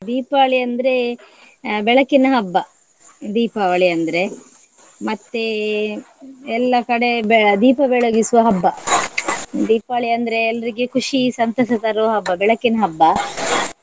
ದೀಪಾವಳಿ ಅಂದ್ರೆ ಆ ಬೆಳಕಿನ ಹಬ್ಬ, ದೀಪಾವಳಿ ಅಂದ್ರೆ. ಮತ್ತೆ ಎಲ್ಲ ಕಡೆ ಬೆ~ ದೀಪ ಬೆಳಗಿಸುವ ಹಬ್ಬ. ದೀಪಾವಳಿ ಅಂದ್ರೆ ಎಲ್ರಿಗೆ ಖುಷಿ ಸಂತಸ ತರುವ ಹಬ್ಬ ಬೆಳಕಿನ ಹಬ್ಬ.